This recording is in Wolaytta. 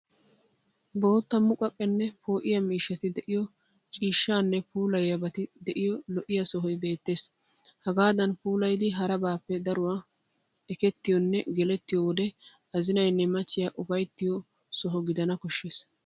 Bootta muqaqenne poo'iya miishati de'iyo cishshane puullayiyabati de'iyo lo'iya sohoy beettes. Hagaadan puulayidi harabappe daruwan ekettiyonne gelettiyo wode azinaynne machchiya ufayttiyo soho gidana koshshes.